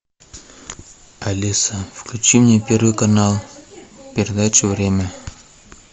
алиса включи мне первый канал передачу время